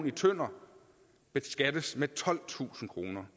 i tønder beskattes med tolvtusind kroner